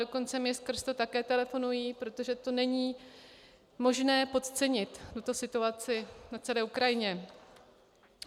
Dokonce mi skrz to také telefonují, protože to není možné podcenit, tuto situaci na celé Ukrajině.